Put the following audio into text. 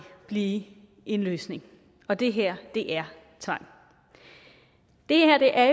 blive en løsning og det her er tvang det her er